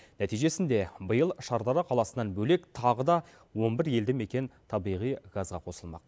нәтижесінде биыл шардара қаласынан бөлек тағы да он бір елді мекен табиғи газға қосылмақ